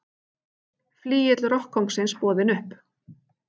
Flygill rokkkóngsins boðinn upp